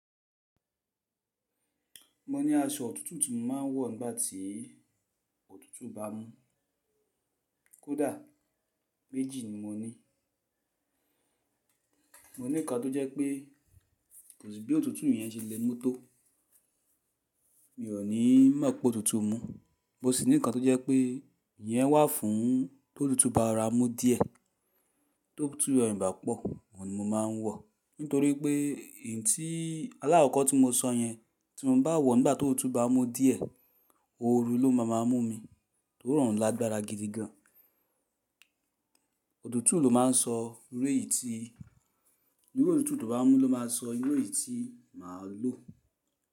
Mo ní aṣọ òtútù tí mo máa ń wọ̀ nígbà tí òtútù bá mú. Kódà méjì ni mo ní. Mo ní nǹkan tó jẹ́ pé kò sí bí òtútù yẹn ṣe le mú tó. Mi ò ní máa pọ̀ òtútù mú. Mo sì ní nǹkan tó jẹ́ pé ìyẹn wà fún tó òtútù bá ra mú díẹ̀. Tó òtútù rọ̀ ìbá pọ̀, òun ni mo máa ń wọ̀. Nítorí pé ìyí tí alákókọ̀ tí mo sọ yẹn tí mo bá wọ̀ nígbà tó òtútù bá mú díẹ̀, òru ló máa ń mú mi, torí ròun lágbára gidi gan. Òtútù ló máa ń sọ irú èyí tí, iru òtútù to bá mú ló máa sọ irú èyí tí màá lò.